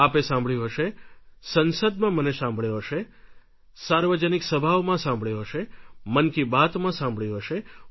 આપે સાંભળ્યું હશે સંસદમાં મને સાંભળ્યો હશે સાર્વજનિક સભાઓમાં સાંભળ્યો હશે મન કી બાતમાં સાંભળ્યું હશે